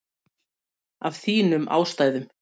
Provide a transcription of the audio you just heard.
Af þínum ástæðum.